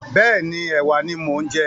Bẹ́ẹ̀ni, ẹ̀wà ni mo ń jẹ.